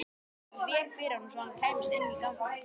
Hún vék fyrir honum svo hann kæmist inn í ganginn.